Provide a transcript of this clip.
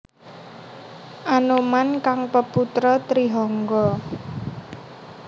Anoman kang peputra Trihangga